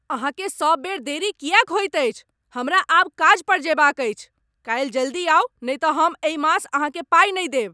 अहाँकेँ सब बेर देरी किएक होइत अछि? हमरा आब काज पर जयबाक अछि! काल्हि जल्दी आउ नहि तँ हम एहि मास अहाँकेँ पाई नहि देब।